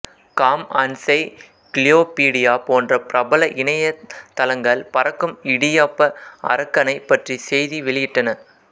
com encyclopedia போன்ற பிரபல இணைய தளங்கள் பறக்கும் இடியாப்ப அரக்கனைப் பற்றி செய்தி வெளியிட்டன